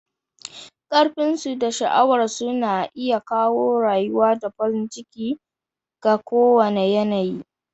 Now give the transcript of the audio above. Ƙarfinsu da sha'awarsu na iya kawo rayuwa da farin ciki ga kowane yanayi.